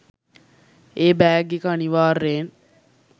ඒ bag එක අනිවාර්යෙන්